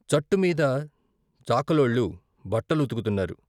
చట్టుమీద చాకలోళ్ళు బట్టలు ఉతుకుతున్నారు.